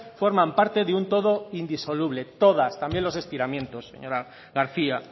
forman parte de un todo indisoluble todas también los estiramientos señora garcía